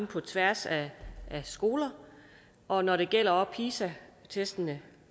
på tværs af skoler og når det gælder pisa testene